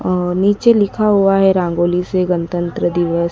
और नीचे लिखा हुआ है रंगोली से गणतंत्र दिवस--